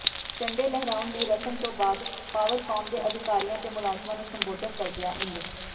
ਝੰਡੇ ਲਹਿਰਾਉਣ ਦੀ ਰਸਮ ਤੋਂ ਬਾਅਦ ਪਾਵਰਕਾਮ ਦੇ ਅਧਿਕਾਰੀਆਂ ਤੇ ਮੁਲਾਜ਼ਮਾਂ ਨੂੰ ਸੰਬੋਧਨ ਕਰਦਿਆਂ ਇੰਜ